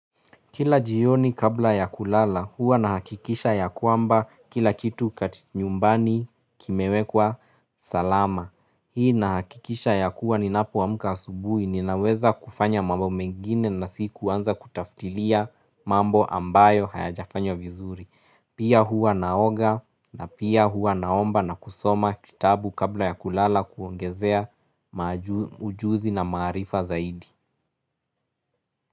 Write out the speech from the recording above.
Kila jioni kabla ya kulala huwa nahakikisha ya kwamba kila kitu kati nyumbani kimewekwa salama. Hii nahakikisha ya kuwa ninapo amks asubui ninaweza kufanya mambo mengine na si kuanza kutaftilia mambo ambayo hayajafanywa vizuri. Pia huwa naoga na pia huwa naomba na kusoma kitabu kabla ya kulala kuongezea ujuzi na maarifa zaidi.